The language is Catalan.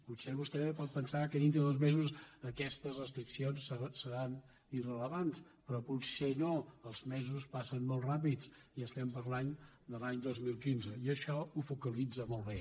potser vostè pot pen·sar que dintre de dos mesos aquestes restriccions se·ran irrellevants però potser no els mesos passen molt ràpids i estem parlant de l’any dos mil quinze i això ho focalit·za molt bé